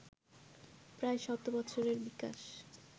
প্রায় শত বছরের বিকাশ